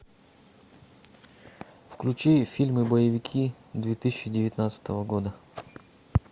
включи фильмы боевики две тысячи девятнадцатого года